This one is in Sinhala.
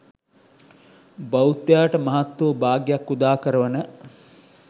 බෞද්ධයාට මහත් වූ භාග්‍යයක් උදා කරවන